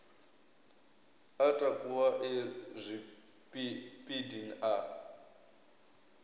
a takuwa e zwipidi a